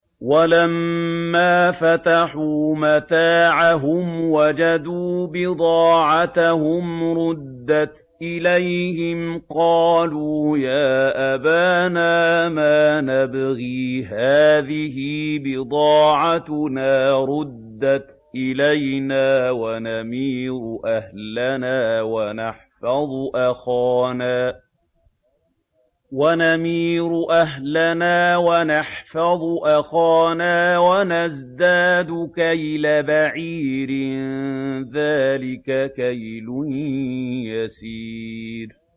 وَلَمَّا فَتَحُوا مَتَاعَهُمْ وَجَدُوا بِضَاعَتَهُمْ رُدَّتْ إِلَيْهِمْ ۖ قَالُوا يَا أَبَانَا مَا نَبْغِي ۖ هَٰذِهِ بِضَاعَتُنَا رُدَّتْ إِلَيْنَا ۖ وَنَمِيرُ أَهْلَنَا وَنَحْفَظُ أَخَانَا وَنَزْدَادُ كَيْلَ بَعِيرٍ ۖ ذَٰلِكَ كَيْلٌ يَسِيرٌ